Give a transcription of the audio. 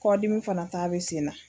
Kɔdimi fana ta bɛ sen na.